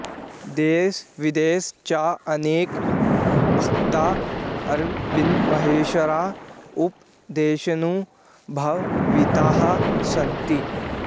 देशविदेशे च अनेके भक्ताः अरबिन्दमहर्षेः उपदेशेन् प्रभाविताः सन्ति